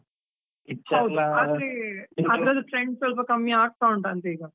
ಅದರ trend ಸ್ವಲ್ಪ ಕಮ್ಮಿ ಆಗ್ತಾ ಉಂಟಾ ಅಂತ ಈಗ.